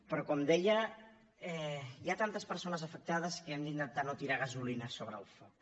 però com deia hi ha tantes persones afectades que hem d’intentar no tirar gasolina sobre el foc